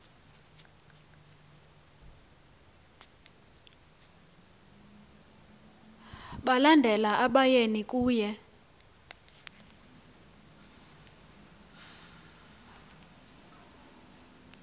balandela abayeni kunye